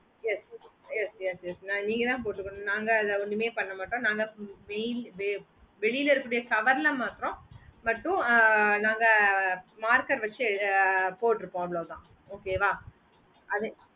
yes yes yes yes mam நீங்கதான் பொடுகுனோ நாங்க அதுல ஒன்னுமே பண்ணமாட்டோம் நாங்க வெளில இருக்க கூடிய cover ல மற்றம் மட்டும் நாங்க marker வெச்சி பொடுப்போம் அவொலதான் okay ஆஹ் அது